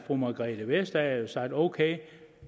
fru margrethe vestager sagt ok